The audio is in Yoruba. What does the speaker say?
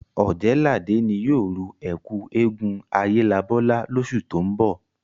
Ọ̀jẹ̀ẹ́làdé ni yóò ru ẹ́kú eégún Ayélabọ́lá lósù tó ń bọ̀